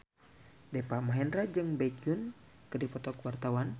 Deva Mahendra jeung Baekhyun keur dipoto ku wartawan